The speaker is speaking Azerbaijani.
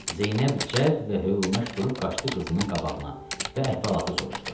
Zeynəb cəld və hövlənaş durub qaçdı qızının qabağına və əhvalatı soruşdu.